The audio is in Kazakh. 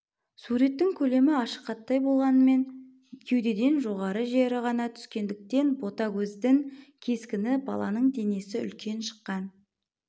суреттің көлемі ашық хаттай болғанмен кеудеден жоғарғы жері ғана түскендік тен ботагөздін кескіні баланын денесі үлкен шыққан